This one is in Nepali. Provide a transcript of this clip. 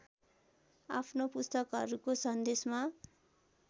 आफ्नो पुस्तकहरूको सन्देशमा